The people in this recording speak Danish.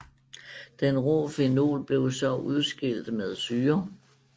Den rå fenol blev så udskilt med syre